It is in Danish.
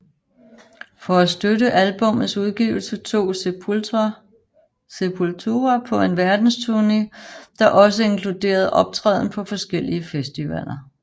For at støtte albummets udgivelse tog Sepultura på en verdensturné der også inkluderede optræden på forskellige festivaler